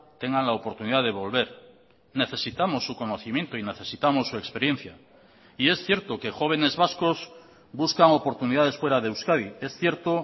tengan la oportunidad de volver necesitamos su conocimiento y necesitamos su experiencia y es cierto que jóvenes vascos buscan oportunidades fuera de euskadi es cierto